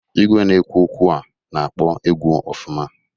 Igwe na-ekwu okwu a na-akpọ egwu ọfụma.